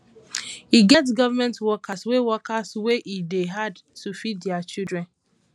e get government workers wey workers wey e dey hard to feed their children